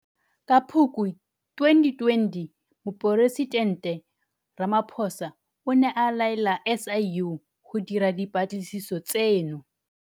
Ka Phukwi 2020 Moporesitente Ramaphosa o ne a laela SIU go dira dipatlisiso tseno.